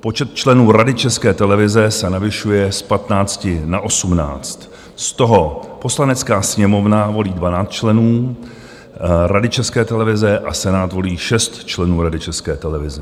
Počet členů Rady České televize se navyšuje z 15 na 18, z toho Poslanecká sněmovna volí 12 členů Rady České televize a Senát volí 6 členů Rady České televize.